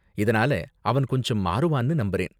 இதனால அவன் கொஞ்சம் மாறுவான்னு நம்புறேன்.